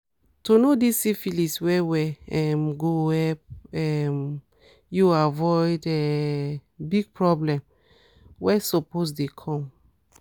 to know this syphilis well well um go help um u avoid um big problem were suppose dey come